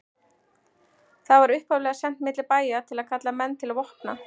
Það var upphaflega sent milli bæja til að kalla menn til vopna.